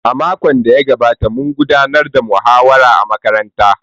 A makon da ya gabata, mun gudanar da muhawara a makarantara.